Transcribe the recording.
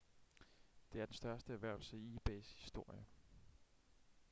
det er den største erhvervelse i ebays historie